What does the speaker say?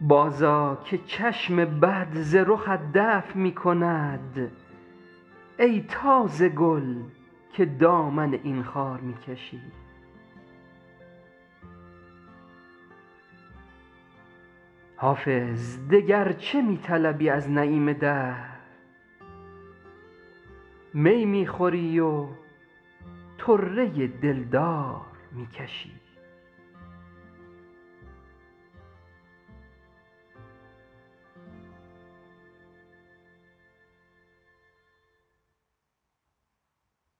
بازآ که چشم بد ز رخت دفع می کند ای تازه گل که دامن از این خار می کشی حافظ دگر چه می طلبی از نعیم دهر می می خوری و طره دلدار می کشی